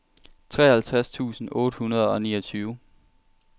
treoghalvtreds tusind otte hundrede og niogtyve